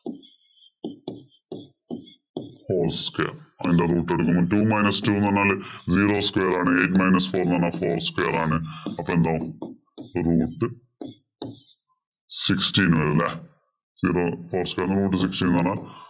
whole square അതിന്റെ root കൊടുക്കുന്നു. two minus two എന്ന് പറഞ്ഞു കഴിഞ്ഞാല് zero square ആണ്. eight minus four എന്ന് പറഞ്ഞു കഴിഞ്ഞാല് four square ആണ്. അപ്പൊ എന്താവും root sixteen വരും ല്ലേ. zero whole square എന്ന് root sixteen കുറഞ്ഞാൽ